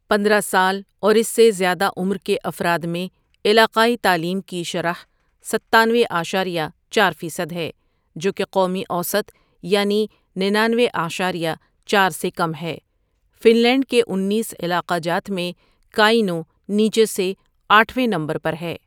پندرہ سال اور اس سے زیادہ عمر کے افراد میں علاقائی تعلیم کی شرح ستانوے اعشاریہ چار فیصد ہے جو کہ قومی اوسط یعنی ننانوے اعشاریہ چار سے کم ہے فن لینڈ کے انیس علاقہ جات میں کاینو نیچے سے آٹھ ویں نمبر پر ہے ۔